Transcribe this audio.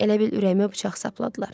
Elə bil ürəyimə bıçaq sapladılar.